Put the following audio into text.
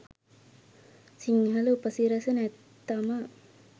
සිංහල උපසිරැසි නැත්තම